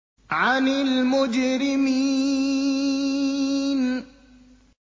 عَنِ الْمُجْرِمِينَ